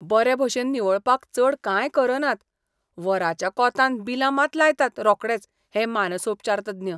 बरे भशेन निवळपाक चड कांय करनात, वराच्या कोंतान बिलां मात लायतात रोकडेच हे मनसोपचारतज्ञ!